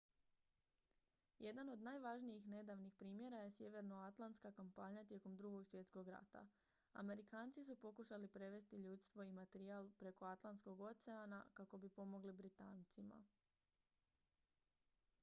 jedan od najvažnijih nedavnih primjera je sjevernoatlantska kampanja tijekom drugog svjetskog rata amerikanci su pokušali prevesti ljudstvo i materijal preko atlantskog oceana kako bi pomogli britancima